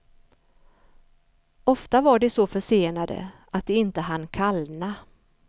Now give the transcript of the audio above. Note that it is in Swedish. Ofta var de så försenade att de inte hann kallna.